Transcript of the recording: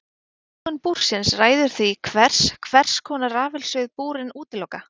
Lögun búrsins ræður því hvers hvers konar rafsegulsvið búrin útiloka.